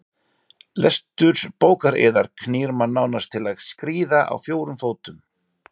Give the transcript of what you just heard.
Lestur bókar yðar knýr mann nánast til að skríða á fjórum fótum.